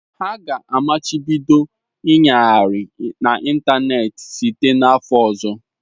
Ha ga-amachibido ịnyagharị n'ịntanetị site n'afọ ọzọ.